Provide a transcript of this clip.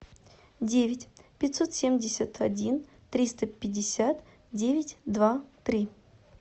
девять пятьсот семьдесят один триста пятьдесят девять два три